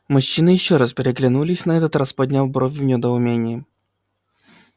мужчины ещё раз переглянулись на этот раз подняв брови в недоумении